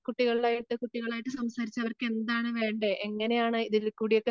കുട്ടികളെ കുട്ടികളായിട്ട് സംസാരിച്ച് അവർക്കെന്താ വേണ്ടേ എങ്ങനെയാണ് ഇതിൽ കൂടിയൊക്കെ